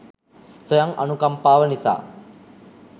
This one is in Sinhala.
ස්වයං අනුකම්පාව නිසා